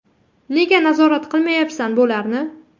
Nega nazorat qilmayapsan bularni?